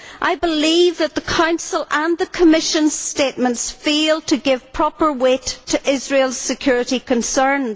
I believe that the Council and the Commission statements fail to give proper weight to Israel's security concerns.